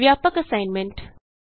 ਵਿਆਪਕ ਅਸਾਈਨਮੈਂਟ